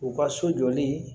U ka so jɔlen